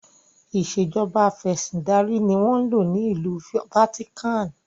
Ìsèjọba afẹ̀sindarí ni wọn ń lò ní ìlú 'Vatican'.